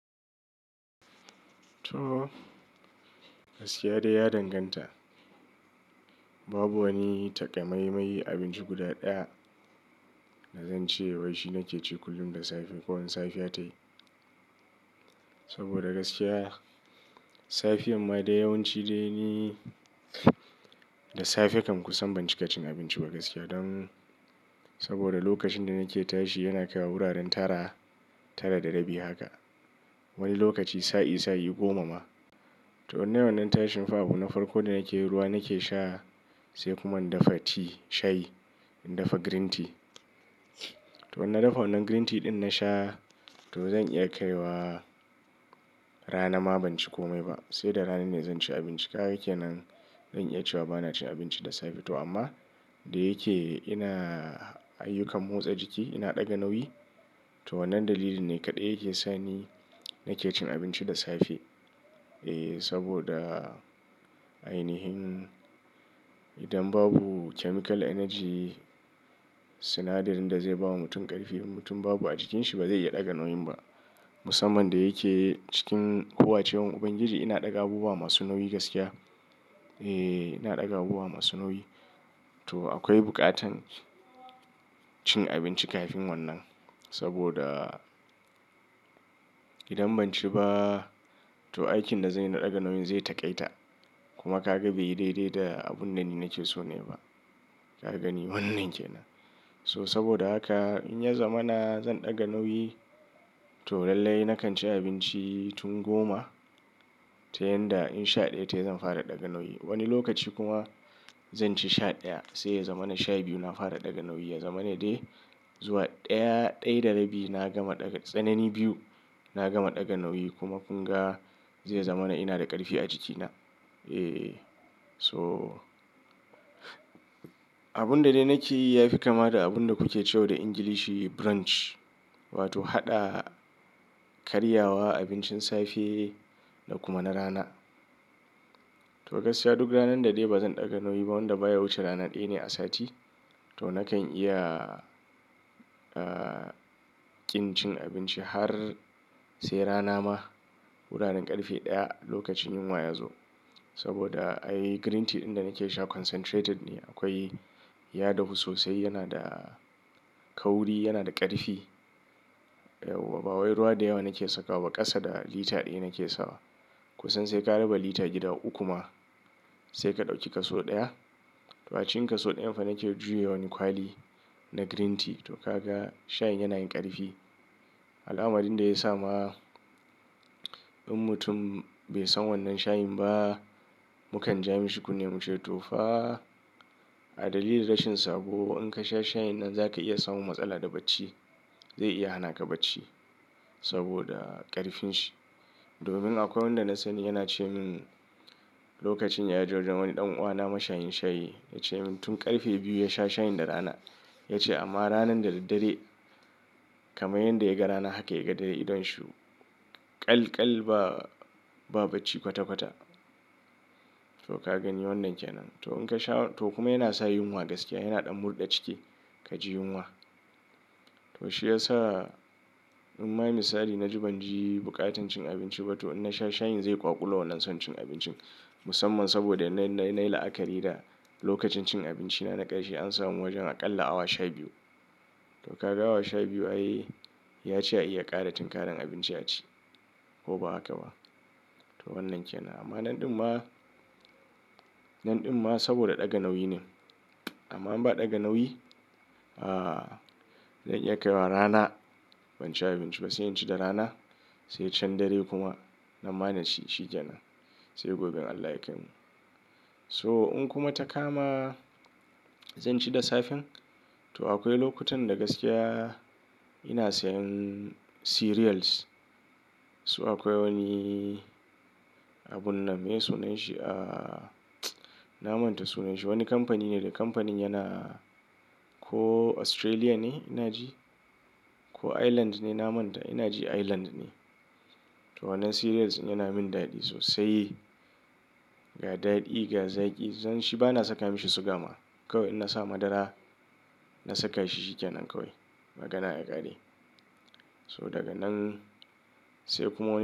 To, gaskiya dai ya danganta. Babu wani takamaimai abinci guda ɗaya da zan ce wai shi nake ci kullum da safe ko in safiya ta yi. Saboda gaskiya safiyan ma da yawanci dai ni da safe kam kusan ban cika cin abinci ba gaskiya. Don saboda lokacin da nake tashi yana kai wa wuraren tara, tara da rabi haka. Wani lokaci sa'i sa'i goma ma. To wannan tashin fa abu na farko da nake ruwa nake sha sai kuma in dafa ti shayi, in dafa green tea. To wannan na dafa wannan green tea ɗin na sha to zan iya kaiwa rana ma ban ci kome ba. Sai da rana ne zan ci abinci. Kaga kenan? Zan iya cewa bana cin abinci da safe to amma da yake ina ayyukan motsa jiki ina ɗaga nauyi. To wannan dalili ne kaɗai yake sa ni nake cin abinci da safe. E, saboda ainihin idan babu chemical energy sinadarin da zai bawa mutum ƙarfi mutum babu a jikinsi ba zai iya ɗaga nauyin ba. Musamman da yake cikin hawa ce wurin Ubangiji ina ɗaga abubuwa masu nauyi gaskiya. E, ina ɗaga abubuwa masu nauyi. To akwai buƙatar cin abinci kafin wannan saboda idan ban ci ba to aikin da zanyi na ɗaga nauyin zai taƙaita kuma ka gan bai daidai da abun da ni nake so ne ba. Ka gani wannan ke nan? To saboda haka in ya zamana zan ɗaga nauyi to lallai na kan ci abinci tun goma tun yanda in sha ɗaya ta yi zan fara ɗaga nauyi. Wani lokaci kuma zan ci sha ɗaya sai ya zamana sha biyu na fara ɗaga nauyi. Ya zamana dai zuwa ɗaya, ɗaya da rabi na gama ɗaga, tsanani biyu na gama ɗaga nauyi kuma kun ga zai zama na ina da ƙarfi a jikina. E, so abun da dai nake yi yafi kama da abun da kuke cewa da Ingilishi brunch wato haɗa karyawa abincin safe da kuma na rana. To gaskiya duk ranar da dai bazan ɗaga nauyi ba wanda baya wuce rana ɗaya ne a sati to nakan iya, ah, ƙin cin abinci har sai rana ma. Wuraren ƙarfe ɗaya lokacin yunwa ya zo. Saboda ai green tea ɗin da nake sha concentrated ne akwai ya dahu sosai yana da kauri yana da ƙarfi. Ba wai ruwa da yawa nake saka wa ba, ƙasa da lita ɗaya nake sawa. Kusan sai ka raba lita gida uku ma sai ka ɗauki kaso ɗaya. To a cikin kaso ɗayan fa nake juya wani kwali na green tea to kaga shayin yana yin ƙarfi. Alamarin da ya sa ma in mutum bai san wannan shayin ba mukan ja mishi kunni muce to fa a dalili rashin sako in ka sha shayin nan za ka iya samun matsala da bacci. Zai iya hana ka bacci saboda ƙarfin shi. Domin akwai wanda na sani yana ce min lokacin da ya je wurin wani ɗan'uwana mashayin shayi ya ce min tun ƙarfe biyu ya sha shayin da rana ya ce amma ranan da daddare kamar yadda yaga rana haka ya ga dare idon shi. Kal kal ba, ba bacci kwata kwata. To ka gani wannan ke nan? To in ka sha to kuma yana sa yunwa gaskiya yana ɗan murɗa ciki ka ji yunwa. To shi ya sa in ma misali na ji ban ji buƙatar cin abinci ba to in na sha shayin zai ƙwaƙulo wannan son cin abincin. Musamman saboda na-na-na yi la'akari da lokacin cin abinci na, na ƙarshe an samu wajen aƙalla awa sha biyu. To ka ga awa sha biyu ayi ya ci iya ƙara tinkaran abinci a ci ko ba haka ba. To wannan ke nan amma nan ɗin ma, nan ɗin ma saboda ɗaga nauyi ne. Amma in ba ɗaga nauyi, ah, zan iya kaiwa rana ban ci abinci ba sai in ci da rana sai can dare kuma nan ba na ci shikenan sai gobe Allah ya kai mu. So in kuma ta kama zan ci da safe to akwai lokutan da gaskiya ina sayan cereals. Su akwai wani abun nan me sunan shi? Ah, na manta sunan shi. Wani kamfani ne da kamfanin yana ko Australia ne ina ji ko Ireland ne na manta ina ji Ireland ne. To wannan cereals yana min daɗi sosai. Ga daɗi ga zaƙi zan shi bana saka mishi siga ma. Kawai iaa sa madara na saka shi shikenan kawai magana ya ƙare. So daga nan sai kuma wani.